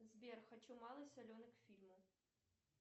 сбер хочу малый соленый к фильму